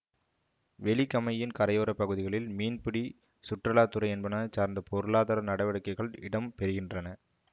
வெலிகமையின் கரையோர பகுதிகளில் மீன்பிடி சுற்றுலா துறை என்பன சார்ந்த பொருளாதார நடவடிக்கைகள் இடம் பெறுகின்றன